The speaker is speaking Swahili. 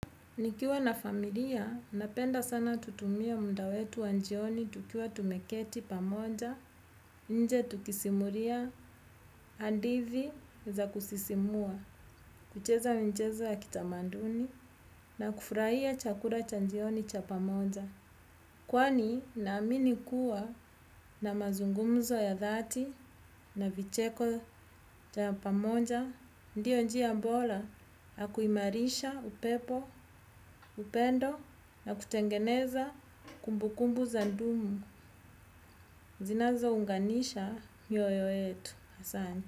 Nikiwa na familia, napenda sana kutumia muda wetu wa jioni tukiwa tumeketi pamoja, nje tukisimuria, hadithi za kusisimua, kucheza michezo ya kitamanduni, na kufraia chakura cha njioni cha pamoja. Kwani naamini kuwa na mazungumzo ya dhati na vicheko ya pamoja, ndiyo njia bola, hakuimarisha upepo, upendo na kutengeneza kumbukumbu za kudumu, zinazounganisha mioyo yetu.